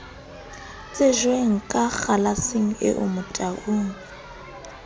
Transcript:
tsejweng ka kgalaseng eo motaung